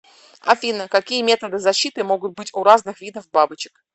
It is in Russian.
афина какие методы защиты могут быть у разных видов бабочек